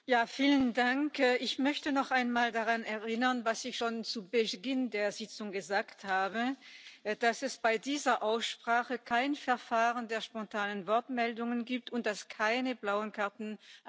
Ich möchte noch einmal an das erinnern, was ich schon zu Beginn der Sitzung gesagt habe, dass es bei dieser Aussprache kein Verfahren der spontanen Wortmeldungen gibt und dass keine blauen Karten angenommen werden.